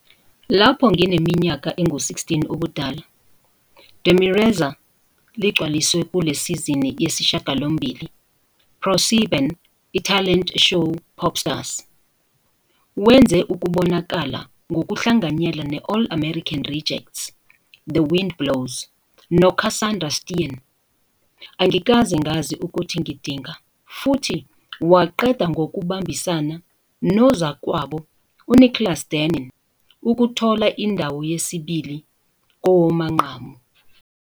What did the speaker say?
Lapho ngineminyaka engu-16 ubudala, Demirezer ligcwaliswe kule sizini yesishiyagalombili ProSieben ithalente show Popstars. Wenze ukubonakala ngokuhlanganyela ne-All American Rejects, The Wind Blows, noCassandra Steen, Angikaze Ngazi Ukuthi Ngidinga, futhi waqeda ngokubambisana nozakwabo uNiklas Dennin ukuthola indawo yesibili kowamanqamu.